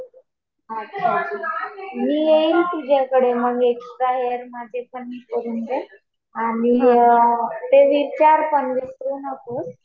मी येईल तुझ्याकडे मग माझे पण एक्सट्रा हेयर ते रिमूव्ह करून दे. आणि ते विचार पण विसरू नको.